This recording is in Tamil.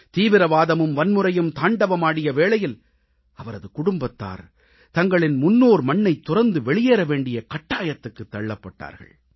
தீவிரவாதமும் வன்முறையும் தாண்டவமாடிய வேளையில் அவரது குடும்பத்தார் தங்களின் முன்னோர் மண்ணைத் துறந்து வெளியேற வேண்டிய கட்டாயத்துக்குத் தள்ளப்பட்டார்கள்